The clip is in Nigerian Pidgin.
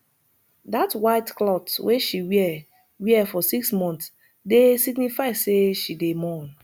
dat white clot wey she wear wear for six mont dey signify sey she dey mourn